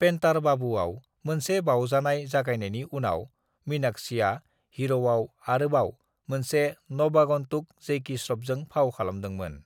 "पेन्टार बाबूआव मोनसे बावजानाय जागायनायनि उनाव, मीनाक्षीआ हीर'आव आरोबाव मोनसे नवागन्तुक जैकी श्र'फजों फाव खालामदोंमोन।"